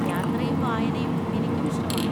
യാത്രയും വായനയും എനിക്കുമിഷ്ടമാണ്.